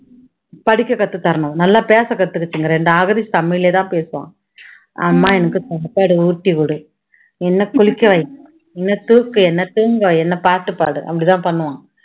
படிக்க கத்து தரணும் நல்லா பேச கத்துக்குச்சுங்க ரெண்டும் அகதீஷ் தமிழிலயே தான் பேசுவான். அம்மா எனக்கு சாப்பாடு ஊட்டி விடு, என்னை குளிக்க வை, என்னை தூக்கு, என்னை தூங்க வை, என்னை பாட்டு பாடு அப்படி தான் பண்ணுவான்